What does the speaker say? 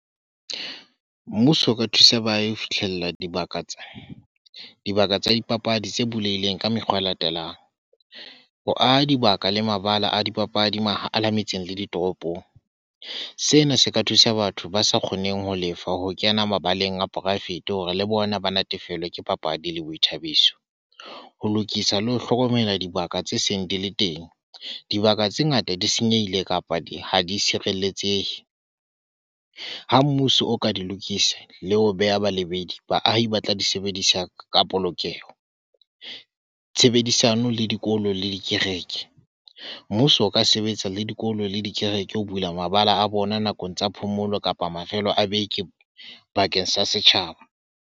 Mmuso o ka thusa baahi ho fihlella dibaka tsa dipapadi tse bulehileng ka mekgwa e latelang, ho aha dibaka le mabala a dipapadi mahala metseng le ditoropong. Sena se ka thusa batho ba sa kgoneng ho lefa ho kena mabaleng a poraefete hore le bona ba natefelwa ke papadi le boithabiso, ho lokisa le ho hlokomela dibaka tse seng di le teng. Dibaka tse ngata di senyehile kapa ha di tshireletsehe. Ha mmuso o ka di lokisa le ho beha balebedi, baahi ba tla di sebedisa ka polokeho, tshebedisano le dikolo le dikereke. Mmuso o ka sebetsa le dikolo le dikereke ho bula mabala a bona nakong tsa phomolo kapa mafelo a beke bakeng sa setjhaba.